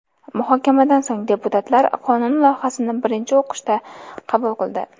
Muhokamadan so‘ng deputatlar qonun loyihasini birinchi o‘qishda qabul qildi.